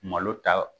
Malo ta